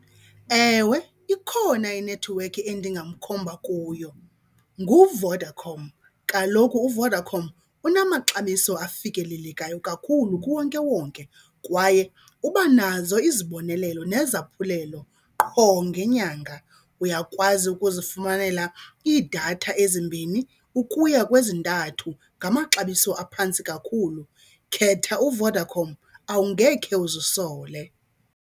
Ewe, ikhona inethiwekhi endingamkhomba kuyo, nguVodacom. Kaloku uVodacom unamaxabiso afikelelekayo kakhulu kuwonkewonke kwaye uba nazo izibonelelo nezaphulelo qho ngenyanga. Uyakwazi ukuzifumanela iidatha ezimbini ukuya kwezintathu ngamaxabiso aphantsi kakhulu. Khetha uVodacom, awungekhe uzisole.